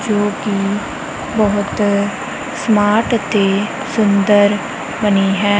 ਜੋ ਕਿ ਬਹੁਤ ਸਮਾਰਟ ਤੇ ਸੁੰਦਰ ਬਣੀ ਹੈ।